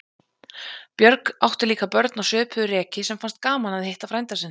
Björg átti líka börn á svipuðu reki sem fannst gaman að hitta frænda sinn.